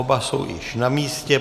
Oba jsou již na místě.